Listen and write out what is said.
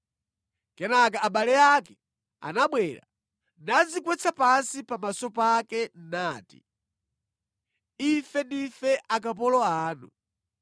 Kenaka abale ake anabwera nadzigwetsa pansi pamaso pake, nati, “Ife ndife akapolo anu.”